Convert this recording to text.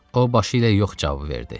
O, başı ilə yox cavabı verdi.